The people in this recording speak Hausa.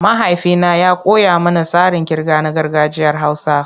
Mahaifina ya koya mana tsarin kirga na gargajiyar Hausa.